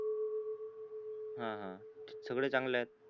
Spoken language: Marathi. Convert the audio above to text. हा हा सगळे चांगलेत